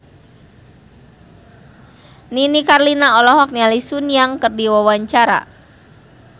Nini Carlina olohok ningali Sun Yang keur diwawancara